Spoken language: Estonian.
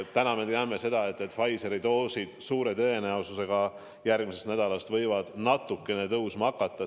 Täna me teame seda, et Pfizeri dooside arv suure tõenäosusega järgmisest nädalast võib natukene tõusma hakata.